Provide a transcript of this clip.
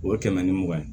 O ye kɛmɛ ni mugan ye